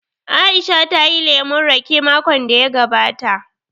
Aisha ta yi lemun raƙe makon da ya gabata